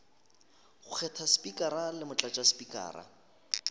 go kgetha spikara le motlatšaspikara